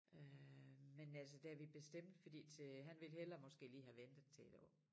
Øh men altså da vi bestemte fordi til han ville hellere måske lige have have ventet til 1 år